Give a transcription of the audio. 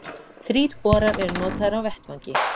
Þrír borar eru notaðir á vettvangi